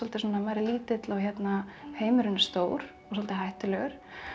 svona maður er lítill og heimurinn er stór og svolítið hættulegur